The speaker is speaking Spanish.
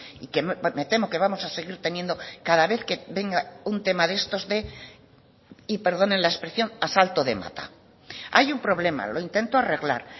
y que me temo que vamos a seguir teniendo cada vez que venga un tema de estos de y perdonen la expresión asalto de mata hay un problema lo intento arreglar